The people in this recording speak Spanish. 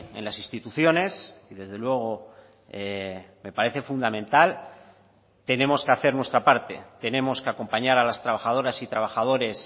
en las instituciones y desde luego me parece fundamental tenemos que hacer nuestra parte tenemos que acompañar a las trabajadoras y trabajadores